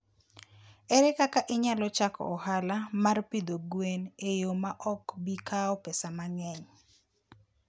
Ere kaka inyalo chako ohala mar pidho gwen e yo ma ok bi kawo pesa mang'eny?